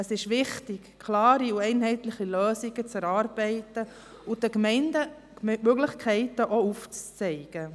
Es ist wichtig, klare, einheitliche Lösungen zu erarbeiten und den Gemeinden, die Möglichkeiten aufzuzeigen.